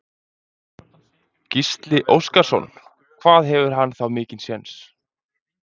Gísli Óskarsson: Hvað hefur hann þá mikinn séns?